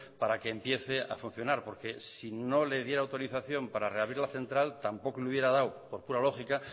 para que empiece a funcionar porque si no le diera autorización para reabrir la central tampoco le hubiera dado por pura lógica